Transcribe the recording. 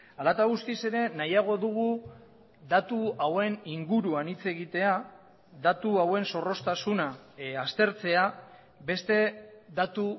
hala eta guztiz ere nahiago dugu datu hauen inguruan hitz egitea datu hauen zorroztasuna aztertzea beste datu